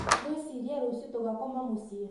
Ngwĩciria rũcio tũgakoma mũciĩ